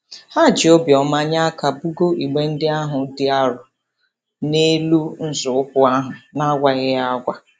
Ha ji obiọma nye aka bugoo igbe ndị ahụ dị arọ n'elu nzọụkwụ ahụ n'agwaghị ya agwa.